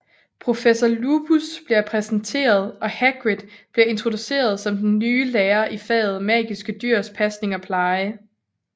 Professor Lupus bliver præsenteret og Hagrid bliver introduceret som den nye lærer i faget Magiske Dyrs Pasning og Pleje